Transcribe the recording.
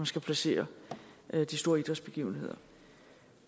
skal placere de store idrætsbegivenheder